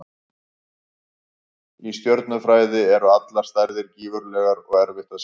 Í stjörnufræði eru allar stærðir gífurlegar og erfitt að skilja.